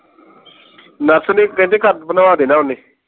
nurse ਨੂੰ ਕਹਿੰਦੇ ਬਣਵਾ ਦੇਣਾ ਹੈ ਓਹਨੇ